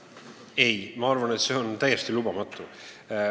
Ei, ma arvan, et see on täiesti lubamatu.